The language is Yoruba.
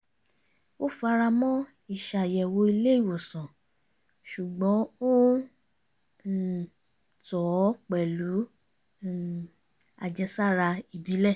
ó fara mọ́ ìṣàyẹ̀wò ilé ìwòsàn ṣùgbọ́n ó ń um tọ̀ ọ́ pẹ̀lú um àjẹsára ìbílẹ̀